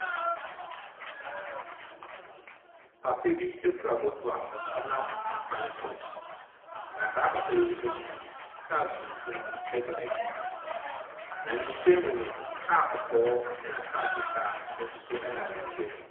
Papa bi kura moto a ɔnam kwn so. Na saa papa yi akyi no, kaa tuntum bi di n’akyi. Na ne nkyɛn mu no, kaa kɔkɔɔ na kaa fitaa nso nam ne nkyɛn mu.